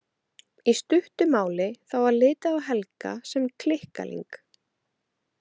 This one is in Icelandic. Í stuttu máli þá var litið á Helga sem klikkaling.